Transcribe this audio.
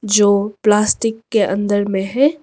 जो प्लास्टिक के अंदर में है।